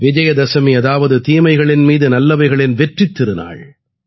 விஜயதசமி அதாவது தீமைகளின் மீது நல்லவைகளின் வெற்றித் திருநாள்